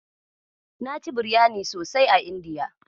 Na ci biryani sosai a Indiya.